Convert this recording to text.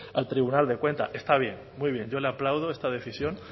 al tribunal de cuentas está bien muy bien yo le aplaudo esta decisión